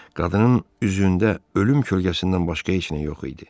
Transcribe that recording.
Qadının üzündə ölüm kölgəsindən başqa heç nə yox idi.